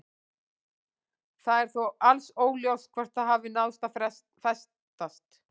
Það er þó alls óljóst hvort það hafi náð að festast.